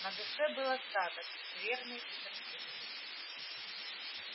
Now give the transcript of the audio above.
на душе был осадок скверный и тоскливый